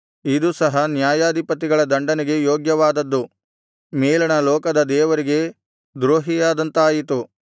ಇದು ಸಹ ನ್ಯಾಯಾಧಿಪತಿಗಳ ದಂಡನೆಗೆ ಯೋಗ್ಯವಾದದ್ದು ಮೇಲಣ ಲೋಕದ ದೇವರಿಗೆ ದ್ರೋಹಿಯಾದಂತಾಯಿತು